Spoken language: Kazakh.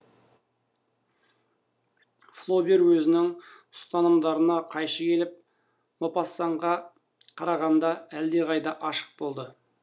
флобер өзінің ұстанымдарына қайшы келіп мопассанға қарағанда әлдеқайда ашық болды